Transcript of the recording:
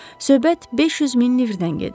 Söhbət 500 min livrdən gedir.